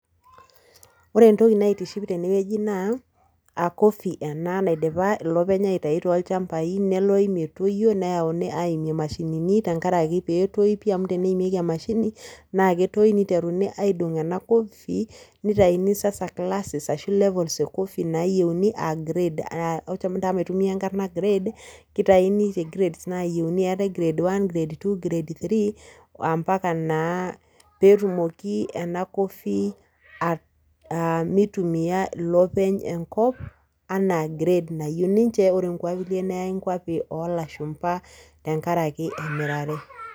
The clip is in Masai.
Ore entoki naitiship tene wueji naa acoffee ena naidipa ilopeny aitayu toolchambai , neloy metoyio , neyauni aimie imashinini tenkaraki peetoyu pi amu teneimieki emashini naa ketoyu ninteruni aidong ena coffee , nitaini sasa classes ashu levels e coffee nayienu a grade, encho naa maitumia enkarna grades , kitaini too grades nayieuni, keetae grade one , grade two , grade three mpaka naa petumoki enacoffee a mitumia ilopeny enkop anaa grade nayieu ninche , ore nkulie neyay nkwapi olashumba , tenkaraki emirare.